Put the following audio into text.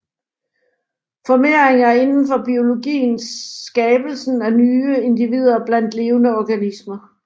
Formering er indenfor biologien skabelsen af nye individer blandt levende organismer